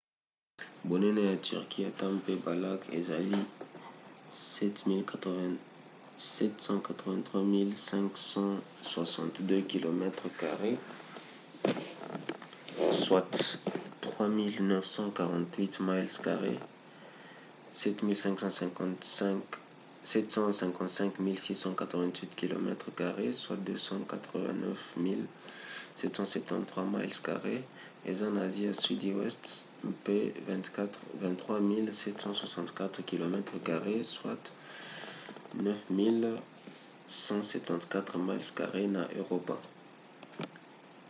bonene ya turquie ata mpe balacs ezali 783 562 kilomètres carrés 300 948 miles carrés; 755 688 kilomètres carrés 291 773 miles carrés eza na asie ya sudi weste mpe 23 764 kilomètres carrés 9174 miles carrés na eropa